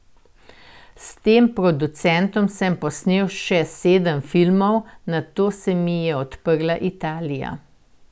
S tem producentom sem posnel še sedem filmov, nato se mi je odprla Italija.